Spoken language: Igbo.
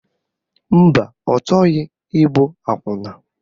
Mba, ọ chọghị ịbụ akwụna